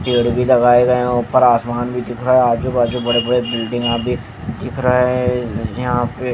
पेड़ भी लगाए गए हैं ऊपर आसमान भी दिख रहा है आजू बाजू बड़े-बड़े बिल्डिंगा भी दिख रहे हैं यहाँ पे--